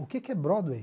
O que que é Broadway?